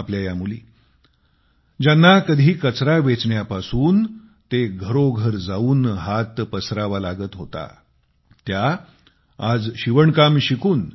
आपल्या या मुली ज्यांना कधी कचरा वेचण्यापासून ते घरोघर जाऊन हात पसरावा लागत होता त्या आज शिवणकाम शिकून